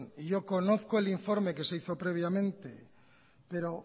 y yo conozco el informe que se hizo previamente pero